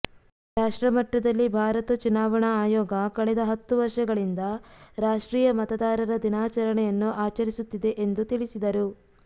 ರಾಷ್ಟ್ರಮಟ್ಟದಲ್ಲಿ ಭಾರತ ಚುನಾವಣಾ ಆಯೋಗ ಕಳೆದ ಹತ್ತು ವರ್ಷಗಳಿಂದ ರಾಷ್ಟ್ರೀಯ ಮತದಾರರ ದಿನಾಚರಣೆಯನ್ನು ಆಚರಿಸುತ್ತಿದೆ ಎಂದು ತಿಳಿಸಿದರು